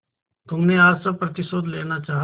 तुमने आज सब प्रतिशोध लेना चाहा